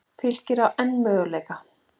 Fylkir á enn möguleika